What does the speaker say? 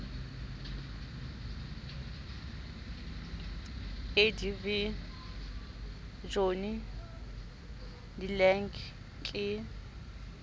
adv johnny de lange ke